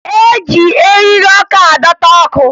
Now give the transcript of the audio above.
E ji eriri ọkụ adọta ọkụ